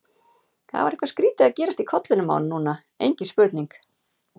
Það var eitthvað skrýtið að gerast í kollinum á honum núna, engin spurning.